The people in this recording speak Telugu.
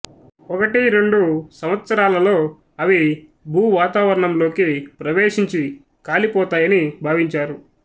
ఒకటి రెండు సంవత్సరాలలో అవి భూవాతావరణం లోకి ప్రవేశించి కాలిపోతాయని భావించారు